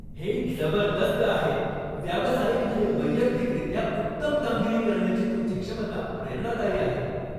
हे जबरदस्त आहे. व्यावसायिक आणि वैयक्तिकरित्या उत्तम कामगिरी करण्याची तुमची क्षमता प्रेरणादायी आहे.